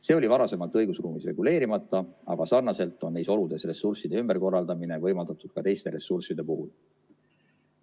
See oli varasemalt õigusruumis reguleerimata, aga sarnaselt on neis oludes ressursside ümberkorraldamine võimaldatud ka teiste ressursside puhul.